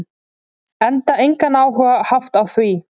Enda engan áhuga haft á því.